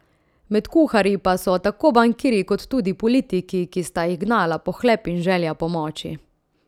Med kuharji pa so tako bankirji kot tudi politiki, ki sta jih gnala pohlep in želja po moči.